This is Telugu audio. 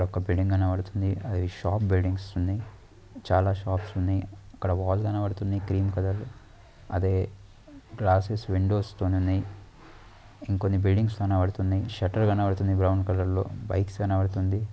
ఒక బిల్డింగ్ కనబడుతుంది. అది షాప్ బిల్డింగ్స్ ఉన్నాయ్. చాలా షాప్స్ ఉన్నాయ్. ఇక్కడ వాల్ కనబడుతుంది గ్రీన్ కలర్ . అదే గ్లాసెస్ విండోస్ తో ఉన్నాయ్. ఇంకొన్ని బిల్డింగ్స్ కనబడుతున్నాయ్. షట్టర్ కనపడుతుంది బ్రౌన్ కలర్ లో. బైక్స్ కనబడుతుంది.